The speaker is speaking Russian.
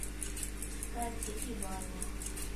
катя и ваня